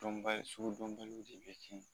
Dɔnba sugudɔnbaliw de bɛ tiɲɛ